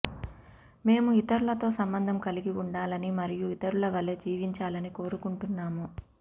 మేము ఇతరులతో సంబంధం కలిగి ఉండాలని మరియు ఇతరుల వలె జీవించాలని కోరుకుంటున్నాము